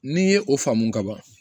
N'i ye o faamu kaban